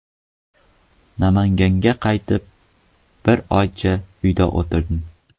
Namanganga qaytib, bir oycha uyda o‘tirdim.